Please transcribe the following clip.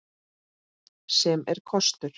Sem er kostur.